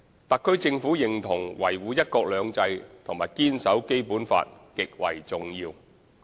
特區政府認同維護"一國兩制"和堅守《基本法》極為重要。